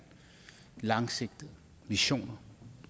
langsigtet vision